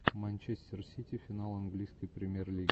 манчестер сити финал английской премьер лиги